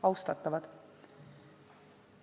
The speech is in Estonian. Austatavad!